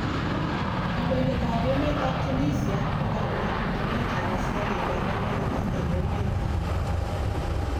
Kondoidet ab emet ab Tunisia kokamwa bitunet ab asikarik ab America eng emet nyin